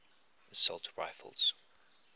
assault rifles